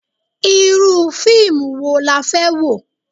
Irú fíìmù wo la fẹ́ wò?